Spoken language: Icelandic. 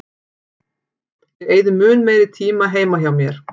Ég eyði mun meiri tíma heima hjá mér.